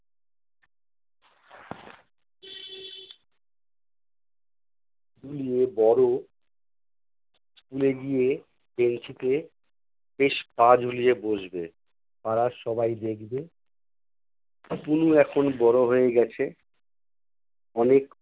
ফুলিয়ে বড় school এ গিয়ে বেঞ্চিতে বেশ পা ঝুলিয়ে বসবে। পাড়ার সবাই দেখবে। আতনু এখন বড় হয়ে গেছে, অনেক